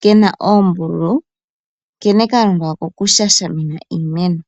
ke na oombululu nkene ka longwa oko ku shashamina iimeno.